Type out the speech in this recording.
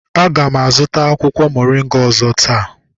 A ga m azụta akwụkwọ moringa ọzọ taa